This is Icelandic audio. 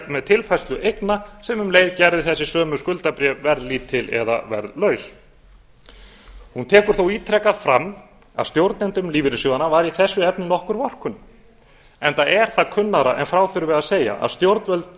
með tilfærslu eigna sem um leið gerðu þessi sömu skuldabréf verðlítil eða verðlaus hún tekur þó ítrekað fram að stjórnendum lífeyrissjóðanna væri í þessu efni nokkur vorkunn enda er það kunnara en frá þurfi að segja að stjórnvöld